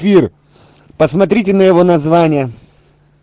пир посмотрите на его название